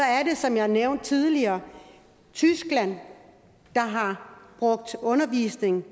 er det som jeg nævnte tidligere tyskland der har brugt undervisning